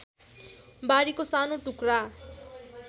बारीको सानो टुक्रा